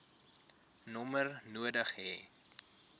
nommer nodig hê